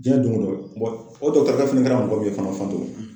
Diɲɛ dongo don o dɔgɔtɔrɔkɛ fɛnɛ kɛra mɔgɔ min ye